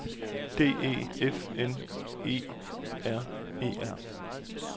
D E F I N E R E R